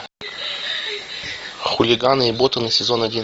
хулиганы и ботаны сезон один